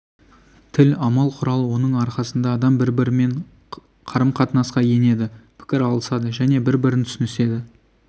тіл амал құрал оның арқасында адам бірімен-бірі қарым-қатынасқа енеді пікір алысады және бірін-бірі түсініседі